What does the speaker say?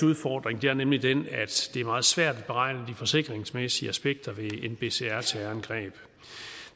udfordring er nemlig den at det er meget svært at beregne de forsikringsmæssige aspekter ved nbcr terrorangreb